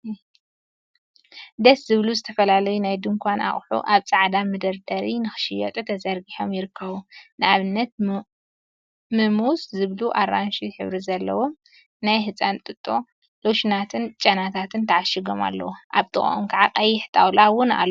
ደስ ዝብሉ! ዝተፈላለዩ ናይ ድንካን ኣቁሑ ኣብ ጻዕዳ መደርደሪ ንኽሽየጡ ተዘርጊሖም ይርከቡ። ን ኣብነት ሙምዘ ዝብሉ ኣራንሺ ሕብሪ ዘለዎም ናይ ህጻን ጥጦ ፣ሎሽናትኝ ጨናታትን ተዓሺጎም ኣለው። ኣብ ጥቓኦም ከዓ ቀይሕ ጣውላ እውን ኣሎ።